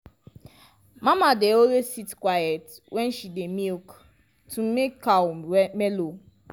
mama dey always sit quiet when she dey milk to make cow mellow.